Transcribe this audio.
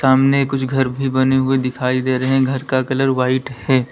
सामने कुछ घर भी बने हुए दिखाई दे रहे हैं घर का कलर व्हाइट है।